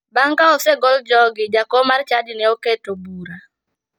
Bang' ka osegol jogi, jakom mar chadi ne oketo bura.